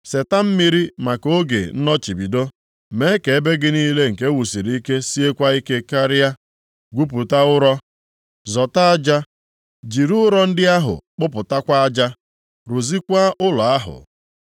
Seta mmiri maka oge nnọchibido, mee ka ebe gị niile nke ewusiri ike siekwa ike karịa. Gwupụta ụrọ, zọta aja, jiri ụrọ ndị ahụ kpụtakwa aja, + 3:14 Lit. Blọk brik rụzikwaa ụlọ ahụ.